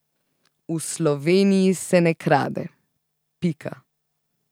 V Sloveniji se ne krade, pika.